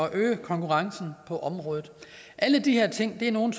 at øge konkurrencen på området alle de her ting er nogle